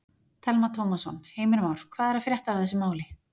Telma Tómasson: Heimir Már, hvað er að frétta af þessu máli?